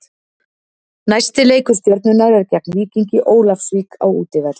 Næsti leikur Stjörnunnar er gegn Víkingi Ólafsvík á útivelli.